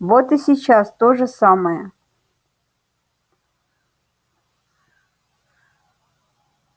вот и сейчас то же самое